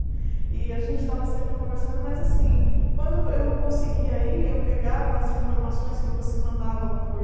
E a gente estava sempre conversando, mas assim, quando eu não conseguia ir, eu pegava as informações que você mandava por...